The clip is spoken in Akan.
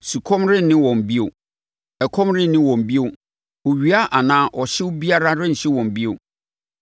Sukɔm renne wɔn bio; ɛkɔm renne wɔn bio. Owia anaa ɔhyew biara renhye wɔn bio.